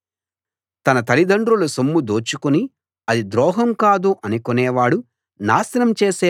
తన తలిదండ్రుల సొమ్ము దోచుకుని అది ద్రోహం కాదు అనుకొనేవాడు నాశనం చేసే వాడికి జతకాడు